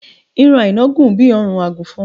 ọrùn aina gùn bí órùn agùnfọn